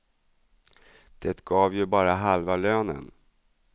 Det gav ju bara halva lönen.